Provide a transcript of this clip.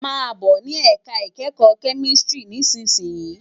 Má bò ni èká ikèékò kèmìsítìrí nìsísìyín